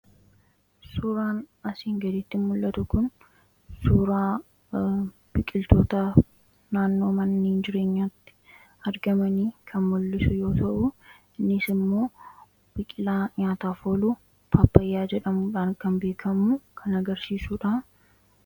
Suuraan asiin gadiitti mul'atu kun suuraa biqiltoota naannoo mana jireenyatti argamanii kan mul'isu yoo ta'uu innis immoo biqilaa nyaataaf ooluu paappayyaa jedhamudhaan kan beekamuu kan agarsiisuudha.